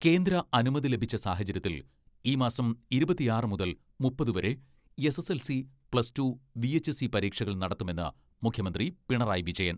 കേന്ദ്ര അനുമതി ലഭിച്ച സാഹചര്യത്തിൽ ഈ മാസം ഇരുപത്തിയാറ് മുതൽ മുപ്പത് വരെ എസ്.എസ്.എൽ.സി, പ്ലസ് ടു, വി.എച്ച്.എസ്.ഇ പരീക്ഷകൾ നടത്തുമെന്ന് മുഖ്യമന്ത്രി പിണറായി വിജയൻ.